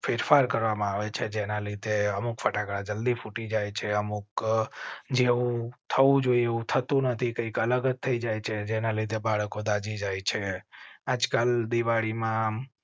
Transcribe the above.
ફેરફાર કરવામાં આવે છે. જેના લીધે અમુક ફટાકડા જલ્દી ફૂટી જાય છે. અમુક જેવું થવું જોઈએ એવું થતું નથી. કંઈક અલગ જ થઇ જાય છે જેના લીધે બાળકો દાઝી જાય છે. આજકાલ દિવાળી માં